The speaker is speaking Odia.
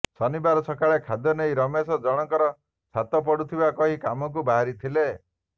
ଶନିବାର ସକାଳେ ଖାଦ୍ୟନେଇ ରମେଶ ଜଣଙ୍କର ଛାତ ପଡୁଥିବା କହି କାମକୁ ବାହାରିଥିଲେ